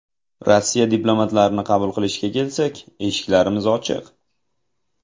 Rossiya diplomatlarini qabul qilishga kelsak, eshiklarimiz ochiq.